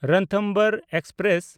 Ranthambore express